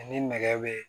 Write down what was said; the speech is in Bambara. Ni nɛgɛ be